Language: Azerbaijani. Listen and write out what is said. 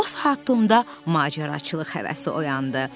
O saat Tomda macəraçılıq həvəsi oyandı.